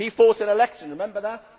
He fought an election remember that?